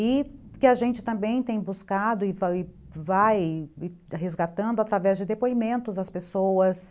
E que a gente também tem buscado e vai vai resgatando através de depoimentos das pessoas.